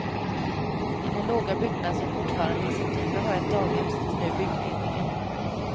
I den låga byggnad som fortfarande i september var ett daghem sitter nu byggledningen.